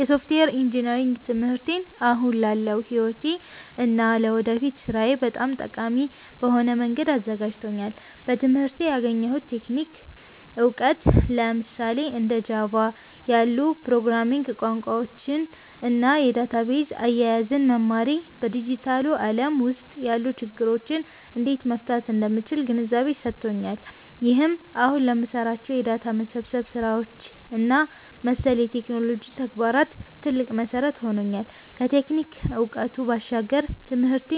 የሶፍትዌር ኢንጂነሪንግ ትምህርቴ አሁን ላለው ሕይወቴ እና ለወደፊት ሥራዬ በጣም ጠቃሚ በሆነ መንገድ አዘጋጅቶኛል። በትምህርቴ ያገኘሁት የቴክኒክ እውቀት፣ ለምሳሌ እንደ ጃቫ (Java) ያሉ የፕሮግራሚንግ ቋንቋዎችን እና የዳታቤዝ አያያዝን መማሬ፣ በዲጂታሉ ዓለም ውስጥ ያሉ ችግሮችን እንዴት መፍታት እንደምችል ግንዛቤ ሰጥቶኛል። ይህም አሁን ለምሰራቸው የዳታ መሰብሰብ ስራዎች እና መሰል የቴክኖሎጂ ተግባራት ትልቅ መሠረት ሆኖኛል። ከቴክኒክ እውቀቱ ባሻገር፣ ትምህርቴ